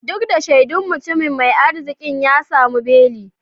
Duk da shaidun, mutumin mai arzikin ya tsamu beli.